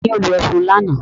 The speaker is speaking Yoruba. Ta ni ó lo ẹfun lánàá?